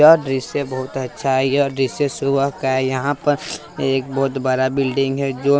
यह दॄश्य बहुत अच्छा है यह दृशय सुबह का हैयह पर एक बहोत बड़ा बिल्डिंग है जो।